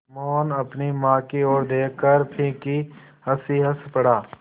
मोहन अपनी माँ की ओर देखकर फीकी हँसी हँस पड़ा